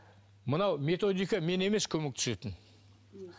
мынау методика мен емес көмектесетін